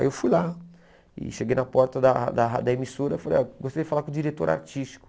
Aí eu fui lá e cheguei na porta da da da emissora e falei, oh gostaria de falar com o diretor artístico.